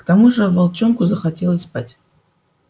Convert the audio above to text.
к тому же волчонку захотелось спать